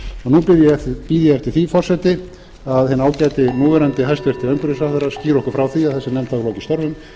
nú bíð ég eftir því forseti að hinn ágæti núverandi hæstvirtur umhverfisráðherra skýri okkur frá því að þessi nefnd hafi lokiðstörfum